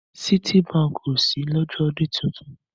Citibank o ṣí lọ́jọ́ ọdún titun.